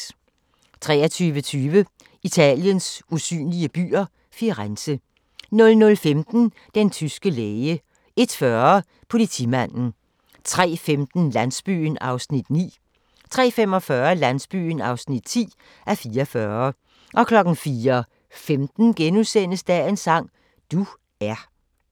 23:20: Italiens usynlige byer – Firenze 00:15: Den tyske læge 01:40: Politimanden 03:15: Landsbyen (9:44) 03:45: Landsbyen (10:44) 04:15: Dagens sang: Du er *